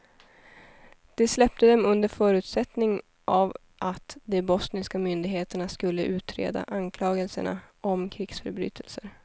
De släppte dem under förutsättning av att de bosniska myndigheterna skulle utreda anklagelsrna om krigsförbrytelser.